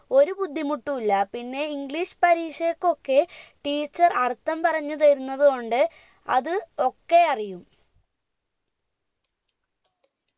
ഒരു ബുദ്ധിമുട്ടു ഇല്ല പിന്നെ english പരീക്ഷയ്‌ക്കൊക്കെ teacher അർഥം പറഞ്ഞു തരുന്നത് കൊണ്ട് അത് ഒക്കെ അറിയും